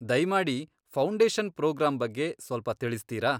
ದಯ್ಮಾಡಿ foundation programme ಬಗ್ಗೆ ಸ್ವಲ್ಪ ತಿಳಿಸ್ತೀರಾ?